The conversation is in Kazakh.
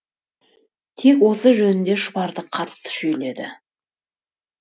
тек осы жөнінде шұбарды қатты шүйледі